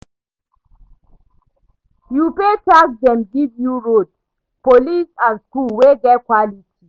You pay tax dem give you road, police and school wey get quality